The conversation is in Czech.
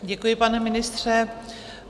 Děkuji, pane ministře.